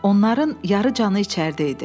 Onların yarıcanı içəridə idi.